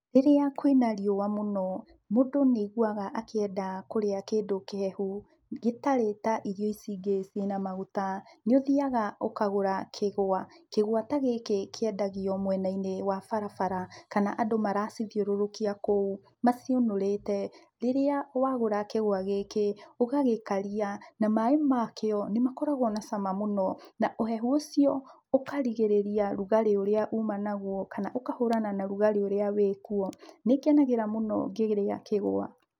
Rĩrĩa kwĩna riũa mũno, mũndũ nĩaiguaga akĩenda kũrĩa kĩndũ kĩhehu, gĩtarĩ ta irio ici ingĩ cina maguta. Nĩũthiaga ũkagũra kĩgwa. Kĩgwa ta gĩkĩ kĩendagio mwena-inĩ wa barabara, kana andũ maracithiũrũrũkia kũu, maciũnũrĩte. Rĩrĩa wagũra kĩgwa gĩkĩ, ũgagĩkaria, na maaĩ makĩo nĩmakoragwo na cama mũno, na ũhehu ũcio ũkarigĩrĩria ũrugarĩ ũrĩa uma naguo, kana ũkahũrana na ũrugarĩ ũrĩa wĩkuo. Nĩngenagĩra mũno ngĩrĩa kĩgwa.